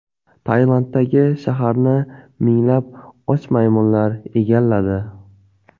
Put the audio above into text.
Tailanddagi shaharni minglab och maymunlar egalladi .